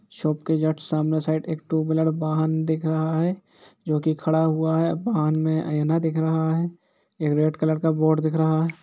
Shop के जट सामने साइड में टू व्हीलर वाहन दिख रहा है जो कि खड़ा हुआ है वाहन में आइना दिख रहा है। एक रेड कलर का बोर्ड दिख रहा है।